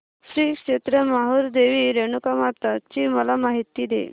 श्री क्षेत्र माहूर देवी रेणुकामाता ची मला माहिती दे